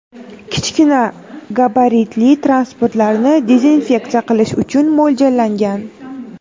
kichkina gabaritli transportlarni dezinfeksiya qilish uchun mo‘ljallangan.